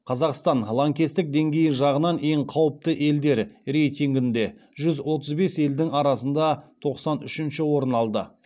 қазақстан лаңкестік деңгейі жағынан ең қауіпті елдер рейтингінде жүз отыз бес елдің арасында тоқсан үшінші орын алды